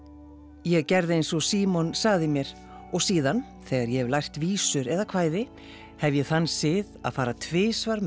ég gerði eins og Símon sagði mér og síðan þegar ég hef lært vísur eða kvæði hef ég þann sið að fara tvisvar með